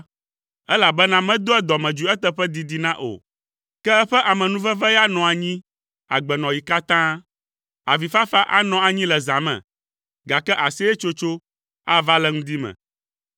Elabena medoa dɔmedzoe eteƒe didina o, ke eƒe amenuveve ya nɔa anyi agbenɔɣi katã. Avifafa anɔ anyi le zã me, gake aseyetsotso ava le ŋdi me.